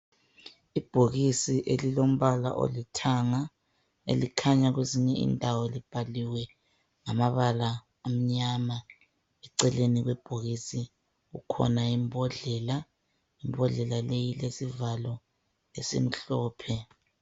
Ibhokisi elilombala olithanga elikhanya kwezinye indawo libhaliwe ngamabala amnyama eceleni kwebhokisi kukhona imbodlela, imbodlela leyi ilesivalo esimhlophe.